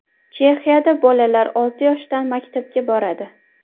Chexiyada bolalar olti yoshdan maktabga boradi.